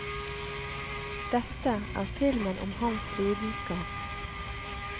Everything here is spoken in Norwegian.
Dette er filmen om hans lidenskap.